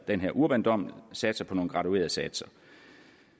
den her urbandom satser på nogen graduerede satser